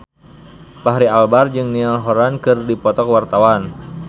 Fachri Albar jeung Niall Horran keur dipoto ku wartawan